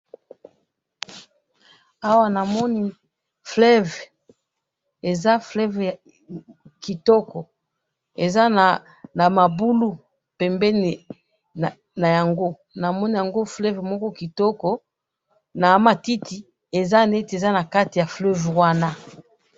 awa na moni fleuve eza fleuve kitoko eza nama bulu pembeni na yango na moni fleuve moko kitoko na ma titi eza neti eza nakati ya fleuve wana